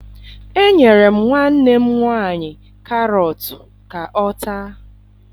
Enyere m nwanne m nwaanyị karọtụ ka ọ taa